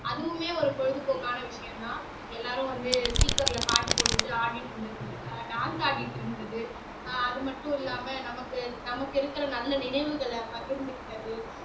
அதுவுமே ஒரு பொழுதுபோக்கான விஷயம்தான் எல்லாரும் வந்து speaker ல பாட்டு போட்டுட்டு ஆடிட்டு இருந்து ஆஹ் dance ஆடிட்டு இருந்தது ஆஹ் அது மட்டும் இல்லாம நமக்கு நமக்கு இருக்கிற நல்ல நினைவுகளை பகிர்ந்துக்கிட்டது